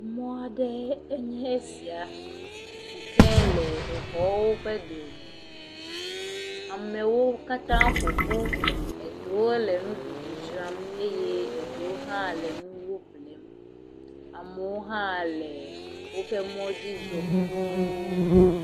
Mɔ aɖee nye esia si ke le exɔwo ƒe dome. Amewo katã ƒo ƒu. Eɖewo le nuɖuɖu dzram. Eye eɖewo hã le nuwo ƒlem. Amewo hã le woƒe mɔdzi zɔ kpoo.